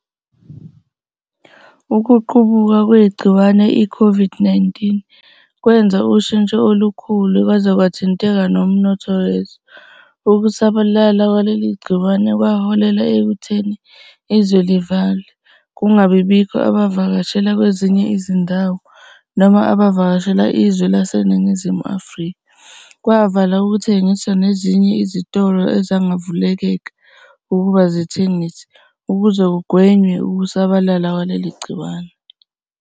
Ukuqubuka kwegciwane i-COVID-19 kwenza ushitsho olukhulu kwaze kwathinteka nomnotho wezwe. Ukusabalala kwaleli gciwane kwaholela ekutheni izwe livalwe, kungabi bikho abavakashela kwezinye izindawo noma abavakashela izwe laseNingizimu Afrika, kwavala ukuthengiswa nezinye izitolo azangavumeleka ukuba zithengise ukuze kugwenywe ukusabalala kwaleli gciwane.